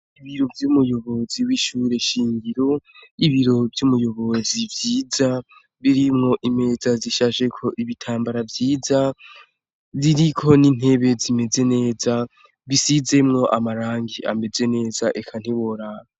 Ibiro vy'umuyobozi w'ishure shingiro, ibiro vy'umuyobozi vyiza birimwo imeza zishasheko ibitambara vyiza ziriko n'intebe zimeze neza bisizemwo amarangi ameze neza eka ntiborara.